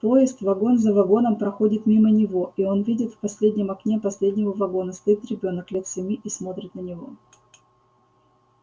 поезд вагон за вагоном проходит мимо него и он видит в последнем окне последнего вагона стоит ребёнок лет семи и смотрит на него